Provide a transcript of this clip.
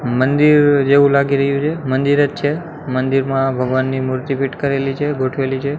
મંદિર જેવુ લાગી રહ્યુ છે મંદિરજ છે મંદિરમાં ભગવાનની મૂર્તિ ફિટ કરેલી છે ગોઠવેલી છે.